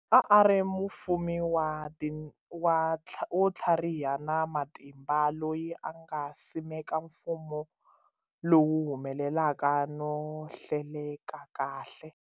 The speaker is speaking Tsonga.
A a ri mufumi wo tlhariha na matimba loyi a nga simeka mfumo lowu humelelaka no hleleka kahle.